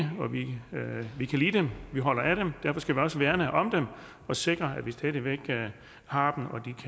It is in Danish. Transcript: og vi kan lide dem vi holder af dem og derfor skal vi også værne om dem og sikre at vi stadig væk har